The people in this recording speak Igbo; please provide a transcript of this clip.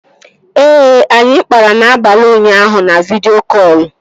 Ee, anyị kpara n'abalị ụnyaahụ na vidịo kọlụ